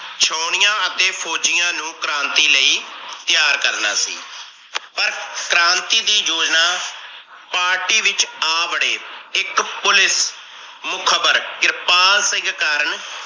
ਛਾਉਣੀਆਂ ਅਤੇ ਫੋਜੀਆਂ ਨੂੰ ਕ੍ਰਾਂਤੀ ਲਈ ਤਿਆਰ ਕਰਨਾ ਸੀ। ਪਰ ਕ੍ਰਾਂਤੀ ਦੀ ਜੋਜਣਾ party ਵਿਚ ਆ ਬੜੇ ਇੱਕ police ਮੁਖ਼ਬਰ ਕਿਰਪਾਲ ਸਿੰਘ ਕਾਰਨ